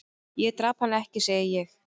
"""Ég drap hann ekki, segi ég."""